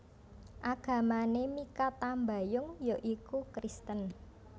Agamané Mikha Tambayong ya iku Kristen